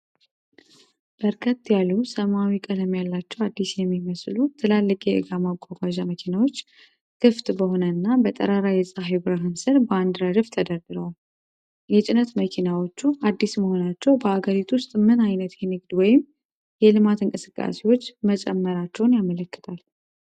በርከት ያሉ ሰማያዊ ቀለም ያላቸው፣ አዲስ የሚመስሉ ትላልቅ የእቃ ማጓጓዣ መኪናዎች (Tractors) ክፍት በሆነና በጠራራ የፀሐይ ብርሃን ሥር በአንድ ረድፍ ተደርድረዋል። የጭነት መኪናዎቹ አዲስ መሆናቸው በአገሪቱ ውስጥ ምን ዓይነት የንግድ ወይም የልማት እንቅስቃሴዎች መጨመራቸውን ያመለክታል?